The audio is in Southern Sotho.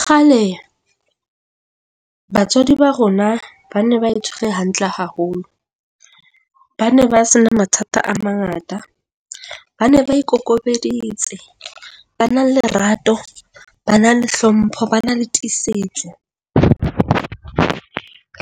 Kgale batswadi ba rona ba ne ba itshware hantle haholo, ba ne ba se na mathata a mangata. Ba ne ba ikokobeditse. Ba na le lerato. Ba na le hlompho. Ba na le tiisetso.